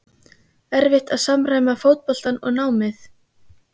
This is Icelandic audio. erfitt að samræma fótboltann og námið?